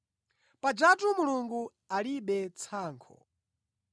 Pajatu Mulungu alibe tsankho.